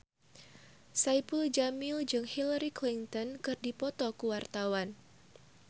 Saipul Jamil jeung Hillary Clinton keur dipoto ku wartawan